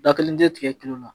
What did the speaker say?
Da kelen tɛ tigɛ kelen na